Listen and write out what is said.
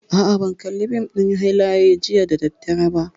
A'a, ban kalli fim ɗin hiƙaya jiya da daddare ba